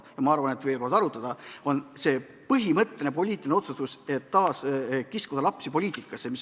Aga ma arvan, et kindlasti tuleks veel arutada põhimõttelist poliitilist otsust, kas kiskuda lapsi poliitikasse.